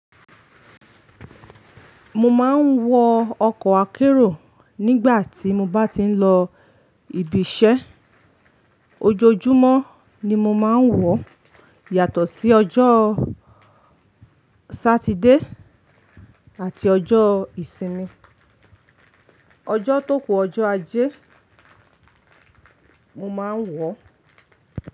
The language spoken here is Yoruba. Mo máa ń wọ ọkọ̀ akérò nígbà tí mo bá ti ń lọ ibiṣẹ́. Ojoojúmọ́ ni mo máa ń wọ̀ yàtọ̀ sí ọjọ́ Saturday àti ọjọ́ ìsinmi. Ọjọ́ tó kù ọjọ́ ajé mo máa ń wọ̀.